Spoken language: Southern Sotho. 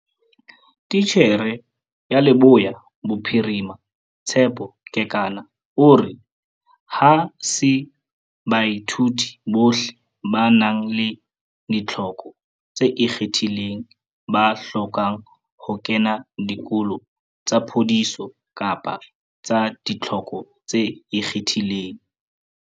Titjhere ya Leboya Bophirima, Tshepo Kekana o re, Ha se baithuti bohle ba nang le ditlhoko tse ikgethileng ba hlokang ho kena dikolo tsa phodiso kapa tsa ditlhoko tse ikgethileng.